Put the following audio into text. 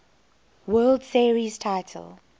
world series title